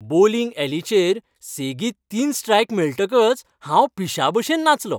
Bowling यॅलिचेर सेगीत तीन स्ट्रायक मेळटकच हांव पिश्यांभशेन नाचलों.